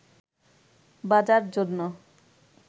বাজার জন্য